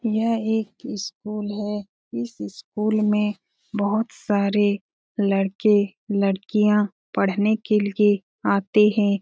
यह एक स्कूल है इस स्कूल में बहुत सारे लड़के-लड़कियाँ पढ़ने के लिए आते हैं।